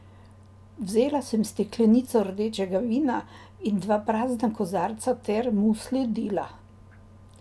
Vzela sem steklenico rdečega vina in dva prazna kozarca ter mu sledila.